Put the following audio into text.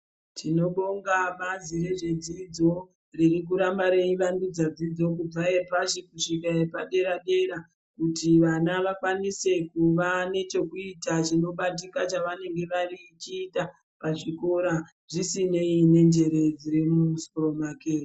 Tinobonga bazi nezvedzidzo ririkuramba reivandudza dzidzo kubva yepashi kusvika yepadera dera kuti vana vakwanise kuva nechekuita chinobatika chavangevechita pachikora zvisinei nenjere dziri mumusoro make.